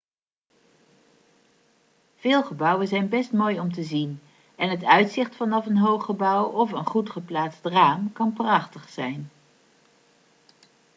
veel gebouwen zijn best mooi om te zien en het uitzicht vanaf een hoog gebouw of een goed geplaatst raam kan prachtig zijn